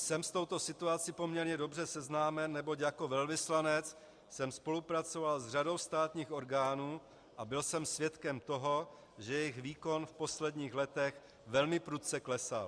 Jsem s touto situací poměrně dobře seznámen, neboť jako velvyslanec jsem spolupracoval s řadou státních orgánů a byl jsem svědkem toho, že jejich výkon v posledních letech velmi prudce klesal.